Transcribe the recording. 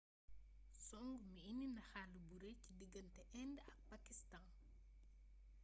songu bi indi na xall bu rëy ci diggante indë ak pakistaan